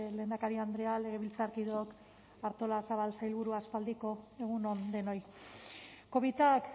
lehendakari andrea legebiltzarkideok artolazabal sailburua aspaldiko egun on denoi covidak